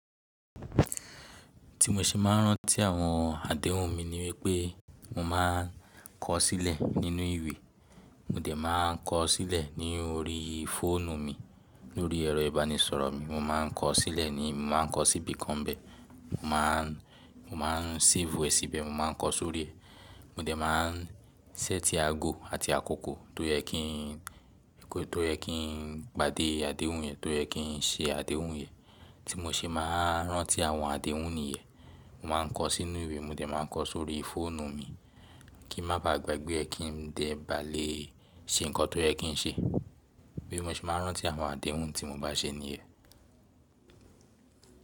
Tí mo ṣe máa ń rántí àwọn àdéhùn mi ni wípé mo máa ń kọ sílẹ̀ nínú ìwé, mo dẹ̀ máa ń kọ sílẹ̀ ní orí fóònù mi, lórí ẹ̀rọ ìbánisọ̀rọ̀ mi, mo máa ń kọ sílẹ̀ ní mo máa ń kọ síbìkan bẹ́ẹ̀. Mo máa ń, mo máa ń save ẹ̀ síbẹ̀, mo máa ń kọ sórí ẹ̀. Mo dẹ̀ máa ń sẹ́tí aago àti àkókò tó yẹ kí n, tó yẹ kí n pàdé àdéhùn yẹn, tó yẹ kí n ṣe àdéhùn yẹn. Tí mo ṣe máa ń rántí àwọn àdéhùn nìyẹn, mo máa ń kọ sínú ìwé, mo dẹ̀ máa ń kọ sórí fóònù mi kí ń má bàá gbàgbé ẹ kí n dẹ̀ bá lè ṣe nǹkan tó yẹ kí n ṣe. Bi mo ṣe máa ń rántí àwọn àdéhùn tí mo bá ṣe nìyẹn.